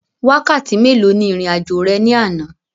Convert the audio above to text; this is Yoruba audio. Wákàtí mélòó ni ìrìn àjò rẹ ní àná?